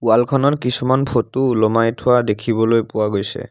Wall খনৰ কিছুমান photo ওলোমাই থোৱা দেখিবলৈ পোৱা গৈছে।